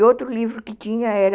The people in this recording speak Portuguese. E outro livro que tinha era